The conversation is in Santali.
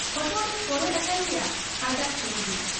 ᱦᱚᱴᱚᱜ ᱨᱮ ᱠᱚᱨᱚᱡ ᱟᱠᱟᱱ ᱜᱮᱭᱟ ᱮᱡᱟᱜ ᱪᱩᱱᱨᱤ ᱾